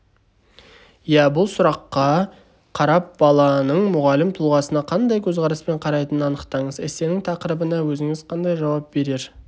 бұл сұраққа қарап баланың мұғалім тұлғасына қандай көзқараспен қарайтынын анықтаңыз эссенің тақырыбына өзіңіз қандай жауап берер